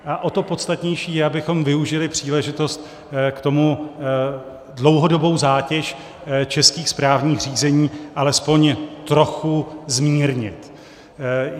A o to podstatnější je, abychom využili příležitost k tomu dlouhodobou zátěž českých správních řízení alespoň trochu zmírnit.